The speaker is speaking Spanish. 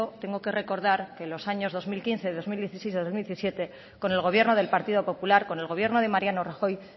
tengo que recordar que los años dos mil quince dos mil dieciséis dos mil diecisiete con el gobierno del partido popular con el gobierno de mariano rajoy